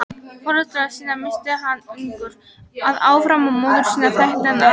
Foreldra sína missti hann ungur að árum og móður sína þekkti hann aldrei.